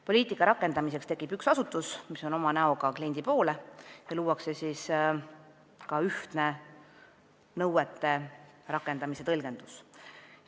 Poliitika rakendamiseks tekib üks asutus, mis on näoga kliendi poole, ja luuakse ühtne nõuete rakendamise tõlgendus.